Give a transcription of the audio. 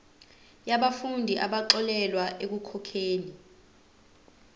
yabafundi abaxolelwa ekukhokheni